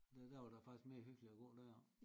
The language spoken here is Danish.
Der der der var der faktisk mere hyggeligt og gå deroppe